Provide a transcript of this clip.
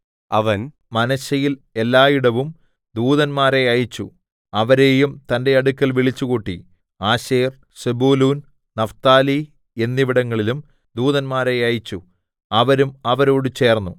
അവൻ മനശ്ശെയിൽ എല്ലായിടവും ദൂതന്മാരെ അയച്ചു അവരെയും തന്റെ അടുക്കൽ വിളിച്ചുകൂട്ടി ആശേർ സെബൂലൂൻ നഫ്താലി എന്നിവിടങ്ങളിലും ദൂതന്മാരെ അയച്ചു അവരും അവരോട് ചേർന്നു